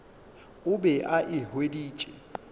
o be a e hweditše